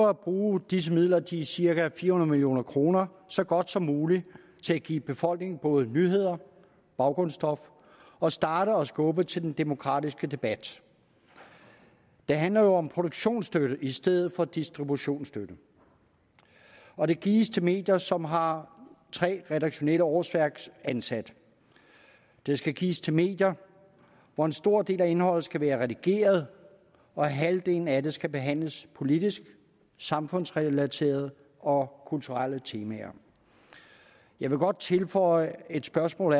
at bruge disse midler de cirka fire hundrede million kroner så godt som muligt til at give befolkningen både nyheder baggrundsstof og starte og skubbe til den demokratiske debat det handler jo om produktionsstøtte i stedet for distributionsstøtte og den gives til medier som har tre redaktionelle årsværksansatte den skal gives til medier hvor en stor del af indholdet skal være redigeret og halvdelen af det skal behandle politiske samfundsrelaterede og kulturelle temaer jeg vil godt tilføje et spørgsmål